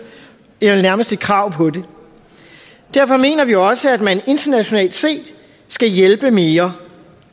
eller nærmest et krav på det derfor mener vi også at man internationalt set skal hjælpe mere